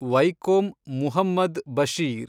Vaikom Muhammad Basheer